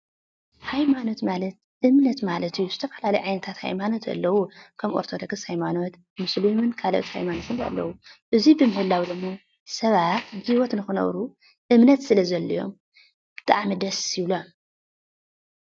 ሃይማኖት ማለት እምነት ማለት እዩ፡፡ ዝተፈላለዩ ዓይነታት ሃይማኖት ኣለዉ፡፡ ከም ኦርቶዶክስ ሃይማኖት፣ ሙስሊምን ካልኦት ሃይማኖትን ኣለዉ፡፡ እዚ ብምህላዉ ደማ ሰባት ብህይወት ንኽነብሩ እምነት ስለዘድልዮም ብጣዕሚ ደስ ይብሎም፡፡